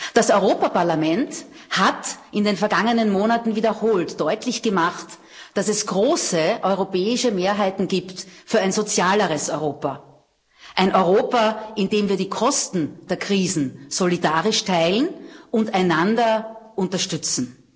Das Europäische Parlament hat in den vergangenen Monaten wiederholt deutlich gemacht, dass es große europäische Mehrheiten gibt für ein sozialeres Europa, ein Europa, in dem wir die Kosten der Krisen solidarisch teilen und einander unterstützen.